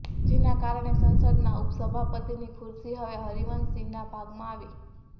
જેના કારણે સંસદના ઉપસભાપતિની ખુરશી હવે હરિવંશ સિંહના ભાગમાં આવી